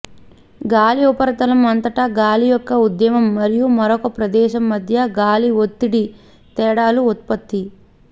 గాలి ఉపరితలం అంతటా గాలి యొక్క ఉద్యమం మరియు మరొక ప్రదేశం మధ్య గాలి ఒత్తిడి తేడాలు ఉత్పత్తి